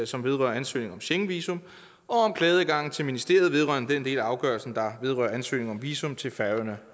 som vedrører ansøgning om schengenvisum og om klageadgangen til ministeriet vedrørende den del af afgørelsen der vedrører ansøgning om visum til færøerne